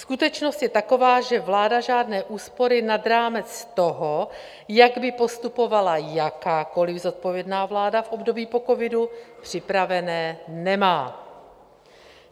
Skutečnost je taková, že vláda žádné úspory nad rámec toho, jak by postupovala jakákoli zodpovědná vláda v období po covidu, připravené nemá.